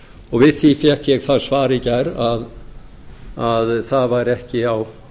og við því fékk ég það svar í gær að það væri ekki á